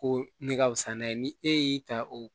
Ko ne ka fisa n'a ye ni e y'i ta o